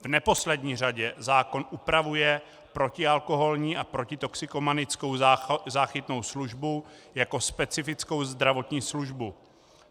V neposlední řadě zákon upravuje protialkoholní a protitoxikomanickou záchytnou službu jako specifickou zdravotní službu.